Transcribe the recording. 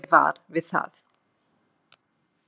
Ekki varð ég var við það.